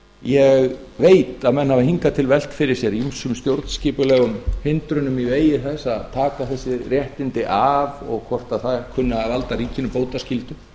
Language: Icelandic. ég veit að menn hafa hingað til velt fyrir sér ýmsum stjórnskipulegum hindrunum í vegi þess að taka þessi réttindi af og hvort þær kunni að valda ríkinu bótaskyldu